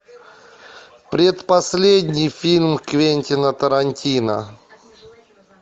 предпоследний фильм квентина тарантино